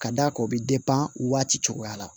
Ka d'a kan o bɛ waati cogoya la